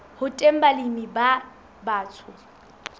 ho teng balemi ba batsho